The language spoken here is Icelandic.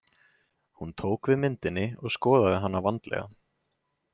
Hún tók við myndinni og skoðaði hana vandlega.